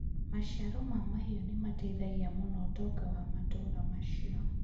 Maciaro ma mahiũ nĩ mateithagia mũno ũtonga wa matũũra macio.